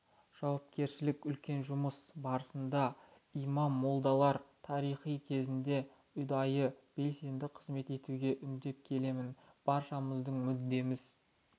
жауапкершілік үлкен жұмыс барысында имам-молдаларды тарихи кезеңде ұдайы белсенді қызмет етуге үндеп келемін баршамыздың мүддеміз